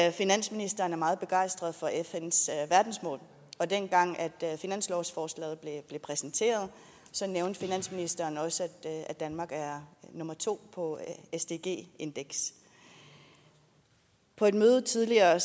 at finansministeren er meget begejstret for fns verdensmål og dengang finanslovsforslaget blev præsenteret nævnte finansministeren også at danmark er nummer to på sdg indekset på et møde tidligere